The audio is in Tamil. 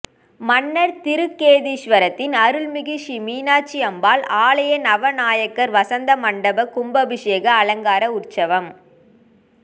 மன்னார் திருக்கேதீஸ்வரத்தின் அருள்மிகு ஹீ மீனாட்சி அம்பாள் ஆலய நவநாயகர் வசந்த மண்டப கும்பாபஷேக அலங்கார உற்சவம்